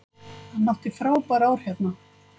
Hann átti frábær ár hérna.